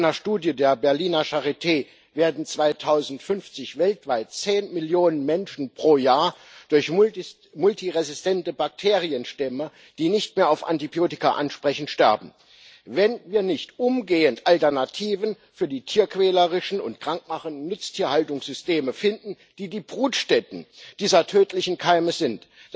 Laut einer Studie der Berliner Charité werden 2050 weltweit zehn Millionen Menschen pro Jahr durch multiresistente Bakterienstämme, die nicht mehr auf Antibiotika ansprechen, sterben, wenn wir nicht umgehend Alternativen für die tierquälerischen und krank machenden Nutztierhaltungssysteme finden, die die Brutstätten dieser tödlichen Keime sind.